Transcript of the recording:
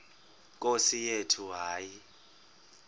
nkosi yethu hayi